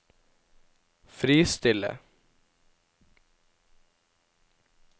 fristille